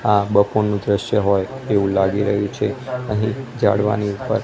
આ બપોરનું દ્રશ્ય હોય એવું લાગી રહ્યું છે અહીં જાળવાની ઉપર--